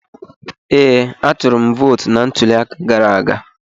Ee, atụrụ m vootu na ntuli aka gara aga.